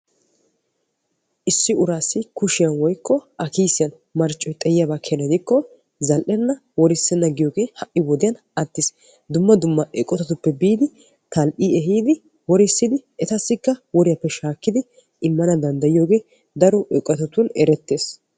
Issi urasi kushiyan woykko a kiisiyan marccoy xayiko zal'enna worisena yaagiyoge hai wodiyan attiis. Dumma dumma eqotatiope biidi tal'i ehiidi worisidi etasika woriyaappe shaakkidi immanawu danddayiyogee daro eqotatun erettees